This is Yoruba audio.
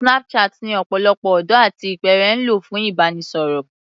Snapchat ni ọ̀pọ̀lọpọ̀ ọ̀dọ́ àti ìpẹ́ẹ̀rẹ̀ ń lò fún ìbánisọ̀rọ̀